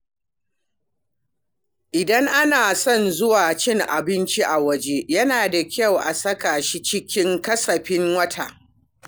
Idan ana son zuwa cin abinci a waje, yana da kyau a saka shi cikin kasafin wata.